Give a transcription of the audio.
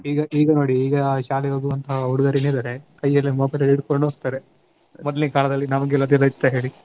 ಈಗ ಈಗ ನೋಡಿ ಈಗ ಶಾಲೆಗೆ ಹೋಗುವಂಥ ಹುಡುಗರು ಏನಿದಾರೇ ಕೈಯಲ್ಲೇ mobile ಹಿಡ್ಕೊಂಡು ಹೋಗ್ತಾರೆ. ಮೊದ್ಲಿನ್ ಕಾಲದಲ್ಲಿ ನಮಗೆಲ್ಲ ಇದೆಲ್ಲ ಇತ್ತ ಹೇಳಿ.